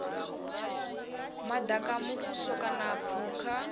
madaka a muvhuso kana phukha